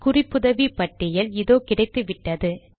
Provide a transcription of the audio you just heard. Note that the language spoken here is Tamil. குறிப்புதவி பட்டியல் இதோ கிடைத்துவிட்டது